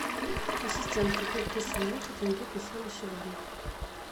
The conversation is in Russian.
ассистент какой курс валют тенге песо на сегодня